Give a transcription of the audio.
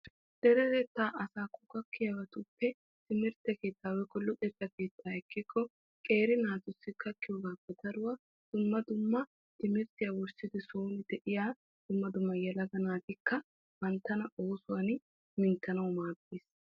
Deretetta asaakko gakkiyabattuppe luxetta keettan guutta naata luxissiyooga oosoy baynna yelaga naati maadana koshshoosonna.